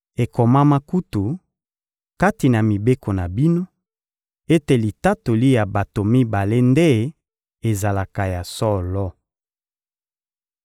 Ekomama kutu, kati na mibeko na bino, ete litatoli ya bato mibale nde ezalaka ya solo.